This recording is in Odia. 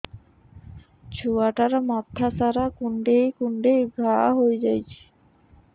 ଛୁଆଟାର ମଥା ସାରା କୁଂଡେଇ କୁଂଡେଇ ଘାଆ ହୋଇ ଯାଇଛି